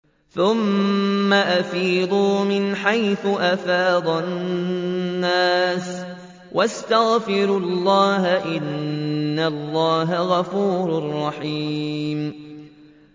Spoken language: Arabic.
ثُمَّ أَفِيضُوا مِنْ حَيْثُ أَفَاضَ النَّاسُ وَاسْتَغْفِرُوا اللَّهَ ۚ إِنَّ اللَّهَ غَفُورٌ رَّحِيمٌ